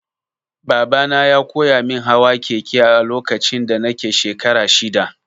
Babana ya koyamin hawa keke a lokacin da nake shekara shida.